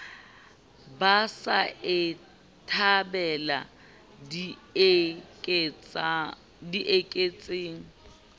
ba sa e thabela dieketseng